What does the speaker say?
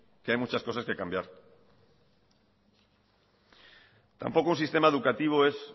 que hay muchas cosas que cambiar tampoco un sistema educativo es